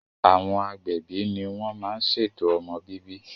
Àwọn agbẹ̀bi ní wọ́n má n ṣètò ọmọ bíbí